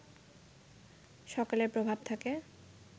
সকালের প্রভাব থাকে